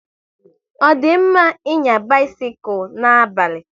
Ọ di mma ịnya bisikul n'abalị?